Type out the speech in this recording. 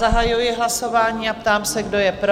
Zahajuji hlasování a ptám se, kdo je pro?